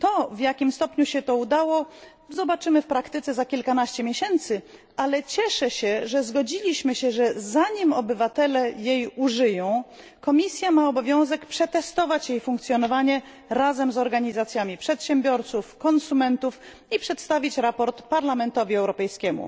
W jakim stopniu się to udało, zobaczymy w praktyce za kilkanaście miesięcy, ale cieszę się, że zgodziliśmy się, że zanim obywatele jej użyją, Komisja ma obowiązek przetestować jej funkcjonowanie razem z organizacjami przedsiębiorców, konsumentów i przedstawić sprawozdanie Parlamentowi Europejskiemu.